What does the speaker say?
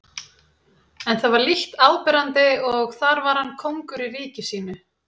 En það var lítt áberandi og þar var hann kóngur í ríki sínu.